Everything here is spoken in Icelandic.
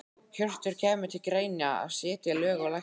Hjörtur: Kemur til greina að setja lög á lækna?